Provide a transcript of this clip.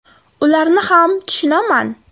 Ularni ham tushunaman.